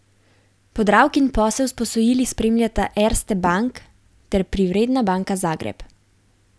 Podravkin posel s posojili spremljata Erste Bank ter Privredna banka Zagreb.